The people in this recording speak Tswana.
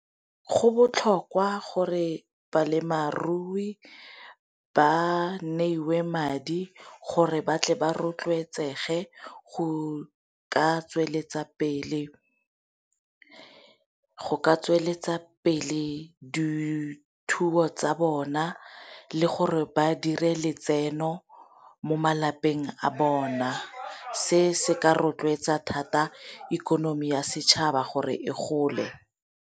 Go botlhokwa gore balemarui ba neiwe madi gore batle ba rotloetsege go ka tsweletsa pele dithuo tsa bona le gore ba dire letseno mo malapeng a bona, se se ka rotloetsa thata ikonomi ya setšhaba gore e gole.